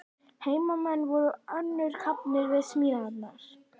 Heimamenn voru önnum kafnir við smíðarnar.